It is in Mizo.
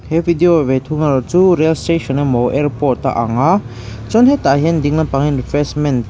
he video ve thung erawh hi chu rail station emaw airport a ang a chuan hetah hian ding lampang ah hian refreshment --